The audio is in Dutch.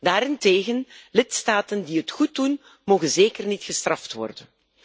Daarentegen, lidstaten die het goed doen, mogen zeker niet gestraft worden.